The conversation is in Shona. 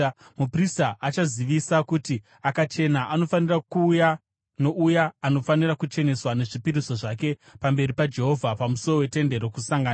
Muprista achazivisa kuti akachena, anofanira kuuya nouya anofanira kucheneswa nezvipiriso zvake pamberi paJehovha pamusuo weTende Rokusangana.